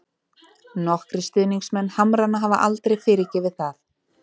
Nokkrir stuðningsmenn Hamrana hafa aldrei fyrirgefið það.